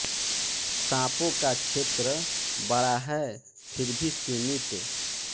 साँपों का क्षेत्र बड़ा है फिर भी सीमित